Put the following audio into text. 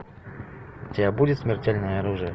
у тебя будет смертельное оружие